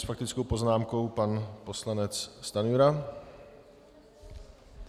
S faktickou poznámkou pan poslanec Stanjura.